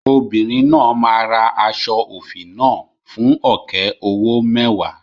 Obìnrin náà máa ra aṣọ òfì náà fún ọ̀kẹ́ owó mẹ́wàá.